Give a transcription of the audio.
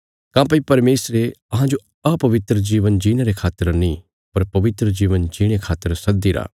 काँह्भई परमेशरे अहांजो अपवित्र जीवन जीणे रे खातर नीं पर पवित्र जीवन जीणे खातर सद्दीरा